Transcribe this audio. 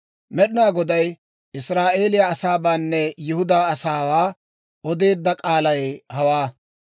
Med'inaa Goday Israa'eeliyaa asaabaanne Yihudaa asaawaa odeedda k'aalay hawaa.